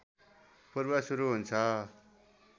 पूर्व सुरु हुन्छ